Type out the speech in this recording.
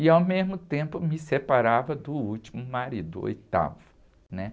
E, ao mesmo tempo, me separava do último marido, o oitavo, né?